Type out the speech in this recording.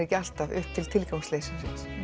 ekki alltaf upp í tilgangsleysi